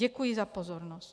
Děkuji za pozornost.